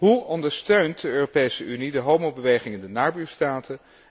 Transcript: Hoe ondersteunt de Europese Unie de homobeweging in de nabuurstaten?